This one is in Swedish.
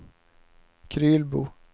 Krylbo